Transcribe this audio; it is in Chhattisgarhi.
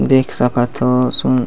देख सकथ हो सुन--